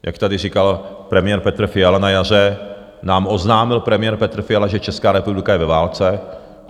Jak tady říkal premiér Petr Fiala na jaře, nám oznámil premiér Petr Fiala, že Česká republika je ve válce.